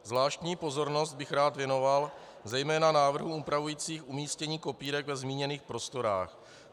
Zvláštní pozornost bych rád věnoval zejména návrhům upravujícím umístění kopírek ve zmíněných prostorách.